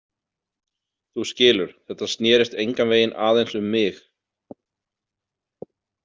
Þú skilur, þetta snerist engan veginn aðeins um mig.